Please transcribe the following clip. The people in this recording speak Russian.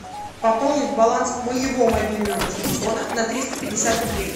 пополнить баланс моего мобильного телефона на триста пятьдесят рублей